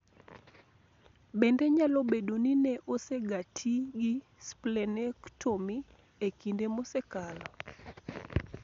Bende nyalo bedo ni ne osegati gi splenectomy e kinde mosekalo.